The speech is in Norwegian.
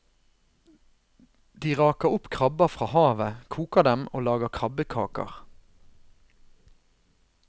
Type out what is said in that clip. De raker opp krabber fra havet, koker dem og lager krabbekaker.